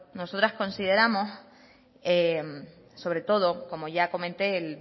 nosotras consideramos sobre todo como ya comente el